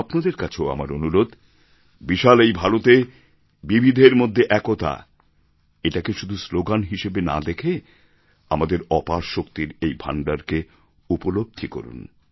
আপনাদের কাছেও আমার অনুরোধ বিশাল এই ভারতে বিবিধের মধ্যে একতা এটাকে শুধু স্লোগান হিসেবে না দেখে আমাদের অপার শক্তির এই ভাণ্ডারকে উপলব্ধি করুন